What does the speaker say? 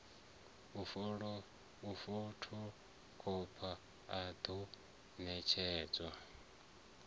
u fothokhopha a ḓo ṋetshedzwa